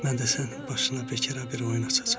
Mən də sənin başına bekara bir oyun açacam.